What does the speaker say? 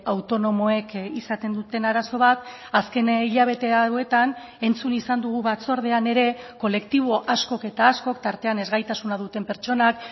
autonomoek izaten duten arazo bat azken hilabete hauetan entzun izan dugu batzordean ere kolektibo askok eta askok tartean ezgaitasuna duten pertsonak